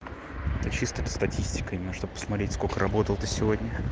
это чисто для статистикой именно что бы посмотреть сколько работал ты сегодня